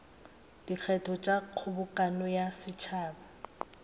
dikgetho tša kgobokano ya setšhaba